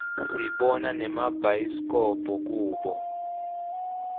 sibona nemabhayisikobho kubo